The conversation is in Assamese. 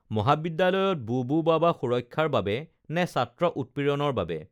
মহাবিদ্যালয়ত বুবু বাবা সুৰক্ষাৰ বাবে নে ছাত্ৰ উৎপীড়নৰ বাবে